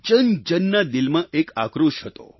જનજનના દિલમાં એક આક્રોશ હતો